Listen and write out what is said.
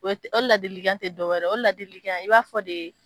O o dela debirigan te dɔwɛrɛ ye o o dela debirigan i b'a fɔ de